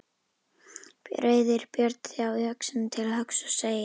Reiðir Björn þá öxina til höggs og segir